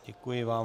Děkuji vám.